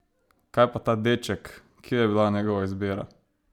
Kaj pa ta deček, kje je bila njegova izbira?